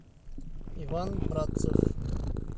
иван братцев